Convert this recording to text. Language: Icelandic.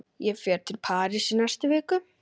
Ég fer til Parísar í næstu viku.